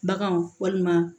Baganw walima